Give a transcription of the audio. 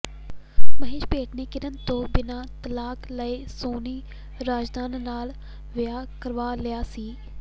ਮਹੇਸ਼ ਭੱਟ ਨੇ ਕਿਰਨ ਤੋਂ ਬਿਨ੍ਹਾਂ ਤਲਾਕ ਲਏ ਸੋਨੀ ਰਾਜ਼ਦਾਨ ਨਾਲ ਵਿਆਹ ਕਰਵਾ ਲਿਆ ਸੀ